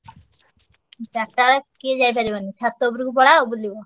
ଚାରିଟା ବେଳେ କିଏ ଯାଇପାରିବନି ଛାତ ଉପରକୁ ପଳାଅ ବୁଲିବ।